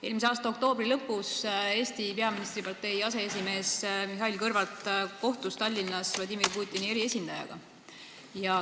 Eelmise aasta oktoobri lõpus kohtus Eesti peaministripartei aseesimees Mihhail Kõlvart Tallinnas Vladimir Putini eriesindajaga.